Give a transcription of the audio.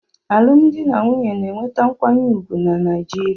Alụmdi na nwunye na-enweta nkwanye ùgwù na Naijiria.